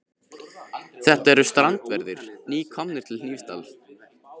Þetta eru strandverðir, nýkomnir til Hnífsdals.